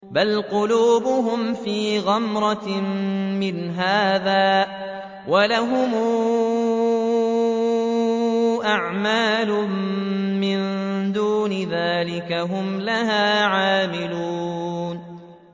بَلْ قُلُوبُهُمْ فِي غَمْرَةٍ مِّنْ هَٰذَا وَلَهُمْ أَعْمَالٌ مِّن دُونِ ذَٰلِكَ هُمْ لَهَا عَامِلُونَ